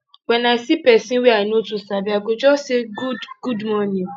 when i see person wey i no too sabi i go just say good good morning